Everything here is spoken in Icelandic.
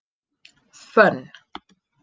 Fönn